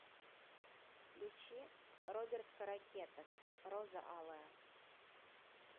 включи роберт каракетов роза алая